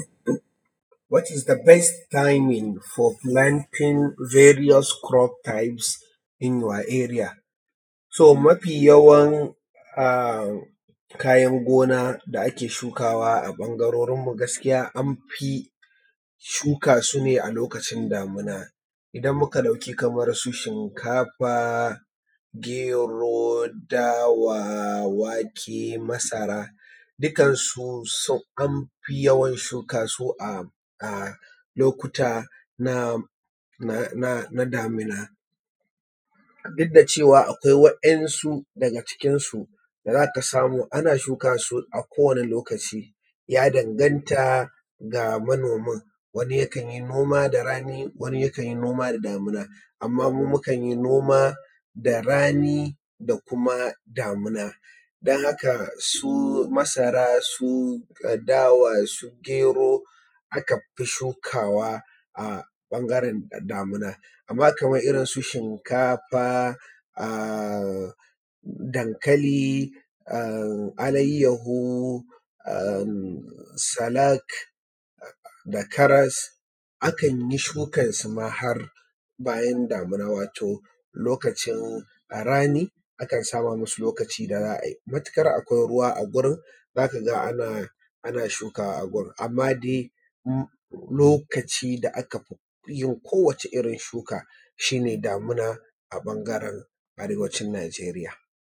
What is the best timing for planting various crops types in your area? To mafi yawan a kayan gona da ake shukawa a ɓangarorin mu gaskiya an fi shuka su ne a lokacin damuna. idan muka ɗauki kamar su shinkafa, gero, dawa, wake, masara dukkan su so amfi yawan shuka su a lokuta na damuna, duk da cewa akwai wa'insu daga cikin su da za ka samu ana shuka su a kowane lokaci, ya danganta ga manomin, wani yakan yi noma da rani, wani yakan yi noman da damuna, amma mu mukan yi noma da rani da kuma damuna. Don haka su masara, su dawa, su gero aka fi shukawa a ɓangaran damuna. Amma kamar irin su shinkafa, dankali, alayahu, sa'alak da karas akan yi shukan su ma har bayan damuna, wato lokacin rani akan sama masu lokacin da za a yi matuƙar akwai ruwa a wurin za ka ga ana shuka a gurin. Amma dai lokacin da aka fi yin kowace irin shuka shi ne damuna a ɓangaren arewacin Najeriya.